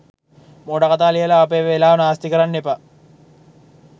මෝඩ කතා ලියලා අපේ වෙලාව නාස්ති කරන්න එපා.